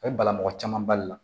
A bɛ bala mɔgɔ caman bali la